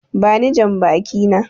Bani jambaki na!